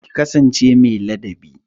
Ki kasance mai ladabi